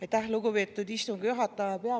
Aitäh, lugupeetud istungi juhataja!